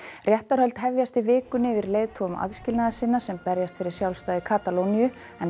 réttarhöld hefjast í vikunni yfir leiðtogum aðskilnaðarsinna sem berjast fyrir sjálfstæði Katalóníu en